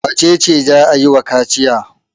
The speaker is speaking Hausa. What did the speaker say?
Wace ce za a yi wa kaciya?